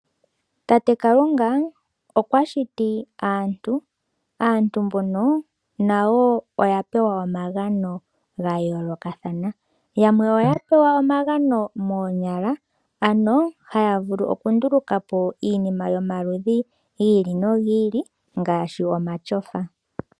Tate Kalunga okwa shiti aantu, aantu mbono nayo oya pewa omagano ga yoolokathana. Yamwe oya pewa omagano moonyala, ano haya vulu okunduluka po iinima yomaludhi gi ili nogi ili ngaashi omashofa.